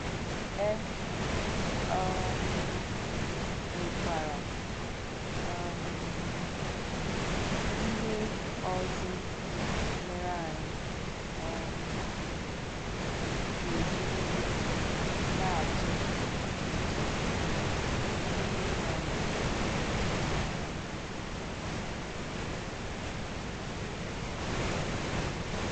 É um nwekwara um íhè ọ̀zò mèrè ànyị um gà-èjìrìrì nà-àchè nche mègìdè ìnwè ànyáùkwù. ànyáùkwù.